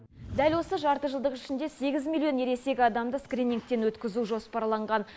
дәл осы жартыжылдық ішінде сегіз миллион ересек адамды скринингтен өткізу жоспарланған